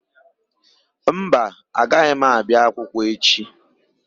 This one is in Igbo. Mba, agaghị m abịa akwụkwọ echi.